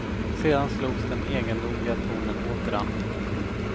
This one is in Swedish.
Sedan slogs den egendomliga tonen åter an.